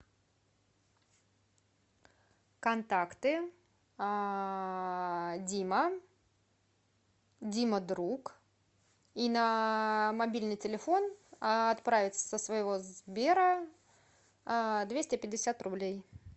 контакты дима дима друг и на мобильный телефон отправить со своего сбера двести пятьдесят рублей